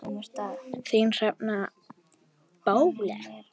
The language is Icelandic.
Þín, Hrefna Bóel.